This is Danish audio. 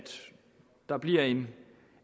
der bliver en